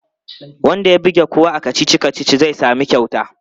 Wanda ya buge kowa a kacici-kacici zai sami kyauta.